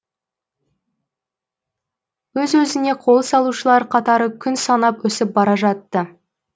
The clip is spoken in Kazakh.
өз өзіне қол салушылар қатары күн санап өсіп бара жатты